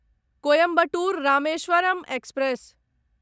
Coimbatore Rameswaram express